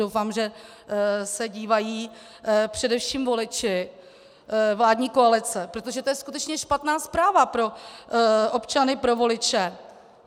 Doufám, že se dívají především voliči vládní koalice, protože to je skutečně špatná zpráva pro občany, pro voliče.